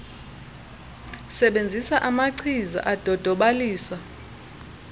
sebenzisa amachiza adodobalisa